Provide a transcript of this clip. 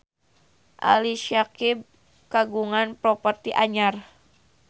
Ali Syakieb kagungan properti anyar